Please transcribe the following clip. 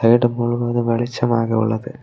Stadium முழுவதும் வெளிச்சமாக உள்ளது.